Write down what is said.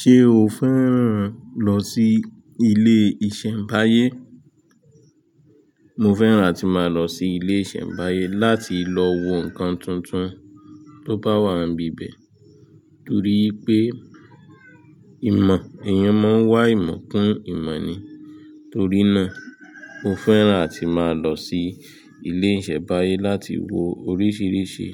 Ṣé o fẹ́ràn lọ sí ilé ìṣẹ̀mbáyé? Mo fẹ́ràn ati máa lọ sí ilé ìṣẹ̀mbáyé láti lọ wo nǹkan tuntun tó bá wà níbi ibẹ̀ torí pé ìmọ̀, èèyàn máa ń wá ìmọ̀ kún ìmọ̀ ni. Torí náà, mo fẹ́ràn ati máa lọ sí ilé ìṣẹ̀mbáyé láti wo oríṣìíríṣìí